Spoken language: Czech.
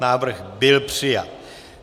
Návrh byl přijat.